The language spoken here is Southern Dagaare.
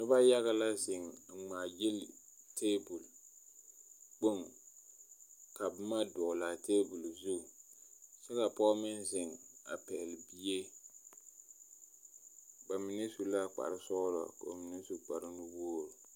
Pɔɔ ane dɔɔ ane bibiiri bayi ka ba zaa su kparoo enfuoni naŋ be kaa pɔɔ pɛgele a bie kaŋ ka dɔɔ meŋ su kpar zeɛ be ba puoriŋ ka die meŋ be be